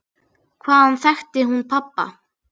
Hvaðan þekkti hún pabba?